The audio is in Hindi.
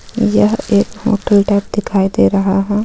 यह एक होटल टाइप दिखाई दे रहा है.